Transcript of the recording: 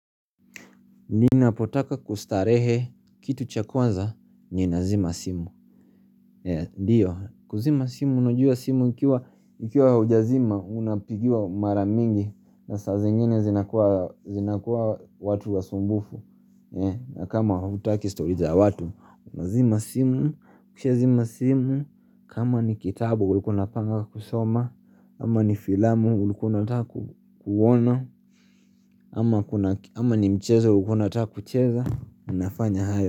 Ninapotaka kustarehe kitu cha kwazza nina zima simu kuzima simu unajua simu ikiwa huja zima unapigwa maramingi na saa zingine zinakuwa watu wasumbufu na kama hutaki stori za watu Unazima simu kushazima simu kama ni kitabu ulikuwa unapanga kusoma ama ni filamu ulikuwa unataka kuona ama ni mchezo ulikuwa unataka kucheza Unafanya hayo.